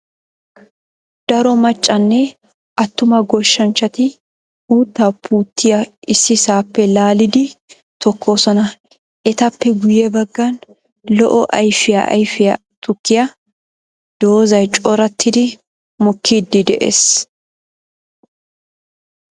Daro maccanne atumma goshshanchchatti uutta puutiyaa ississappe laalliddi tokoosonna. Ettappe guye bagan lo'o ayfiyaa ayfiya tukkiya doozay corattiddi mokkide de'ees.